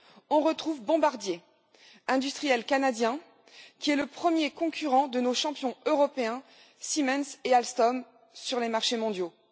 on retrouve Bombardier, industriel canadien, qui est le premier concurrent de nos champions européens Siemens et Alstom sur les marchés mondiaux.